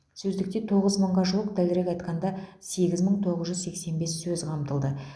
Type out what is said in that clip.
сөздікте тоғыз мыңға жуық дәлірек айтқанда сегіз мың тоғыз жүз сексен бес сөз қамтылды